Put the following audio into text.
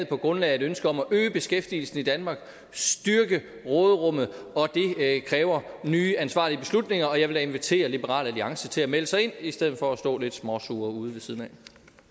på grundlag af et ønske om at øge beskæftigelsen i danmark styrke råderummet det kræver nye ansvarlige beslutninger og jeg vil da invitere liberal alliance til at melde sig ind i stedet for at stå lidt småsure ude ved siden